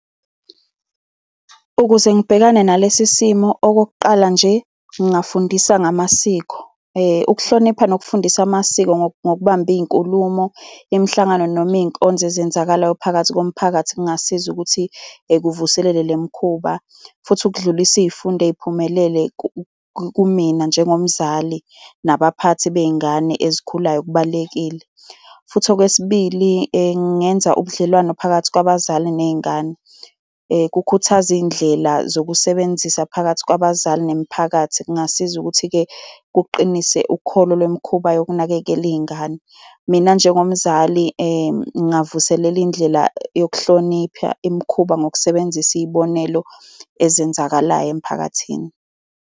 Ukuze ngibhekane nalesi simo, okokuqala nje ngingafundisa ngamasiko ukuhlonipha nokufundisa amasiko ngokubamba iy'nkulumo, imihlangano noma iy'nkonzo ezenzakalayo phakathi komphakathi kungasiza ukuthi kuvuselela le mikhuba. Futhi ukudlulisa iy'fundo ey'phumelele kumina njengomzali nabaphathi bey'ngane ezikhulayo kubalulekile. Futhi okwesibili ngingenza ubudlelwano phakathi kwabazali ney'ngane. Kukhuthaza iy'ndlela zokusebenzisa phakathi kwabazali nemiphakathi. Kungasiza ukuthi-ke kuqinise ukholo lemikhuba yokunakekela iy'ngane. Mina njengomzali, ngingavuselela indlela yokuhlonipha imikhuba ngokusebenzisa iy'bonelo ezenzakalayo emphakathini.